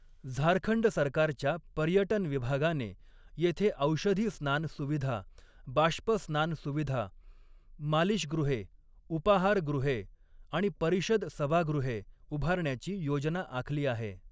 झारखंड सरकारच्या पर्यटन विभागाने येथे औषधी स्नान सुविधा, बाष्पस्नान सुविधा, मालीशगृहे, उपाहारगृहे आणि परिषद सभागृहे उभारण्याची योजना आखली आहे.